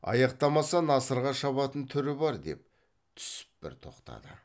аяқтамаса насырға шабатын түрі бар деп түсіп бір тоқтады